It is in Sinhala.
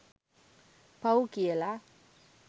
පව් කියලා